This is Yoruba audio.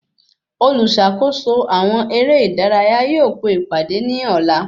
Oluṣakoso àwọn ere ìdárayá yóò pe ìpàdé ní ọ̀la